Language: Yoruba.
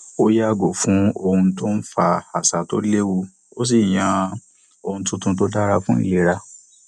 ó yàgò fún ohun tó ń fa àṣà tó lewu ó sì yàn ohun tuntun tó dára fún ìlera